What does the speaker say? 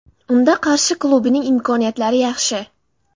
Unda Qarshi klubining imkoniyatlari yaxshi.